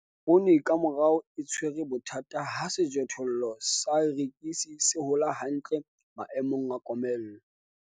Poone ka morao e tshwere bothata ha sejothollo sa erekisi se hola hantle maemong a komello.